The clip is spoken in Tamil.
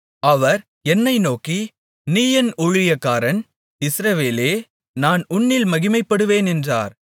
அவர் என்னை நோக்கி நீ என் ஊழியக்காரன் இஸ்ரவேலே நான் உன்னில் மகிமைப்படுவேன் என்றார்